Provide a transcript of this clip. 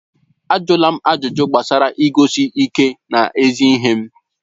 Ajụla m ajụjụ gbasara iguzosi ike n'ezi ihe m!